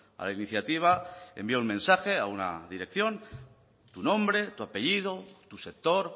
a la iniciativa envía un mensaje a una dirección tu nombre tu apellido tu sector